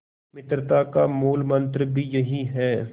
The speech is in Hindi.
मित्रता का मूलमंत्र भी यही है